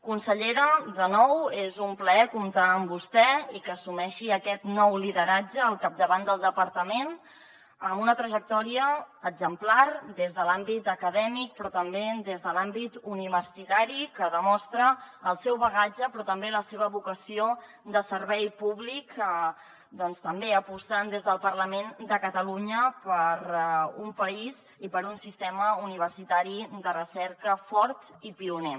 consellera de nou és un plaer comptar amb vostè i que assumeixi aquest nou lideratge al capdavant del departament amb una trajectòria exemplar des de l’àmbit acadèmic però també des de l’àmbit universitari que demostra el seu bagatge i també la seva vocació de servei públic també apostant des del parlament de catalunya per un país i per un sistema universitari de recerca fort i pioner